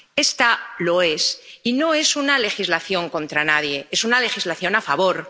Esta lo es, y no es una legislación contra nadie, es una legislación a favor.